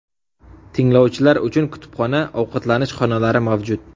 Tinglovchilar uchun kutubxona, ovqatlanish xonalari mavjud.